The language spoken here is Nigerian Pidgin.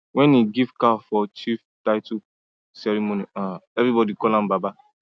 when he give cow for chief title ceremony everybody call am baba